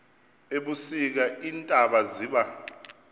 ebusika iintaba ziba